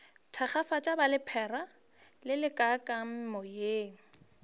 thakgafatšang ba lephera lelekang meoya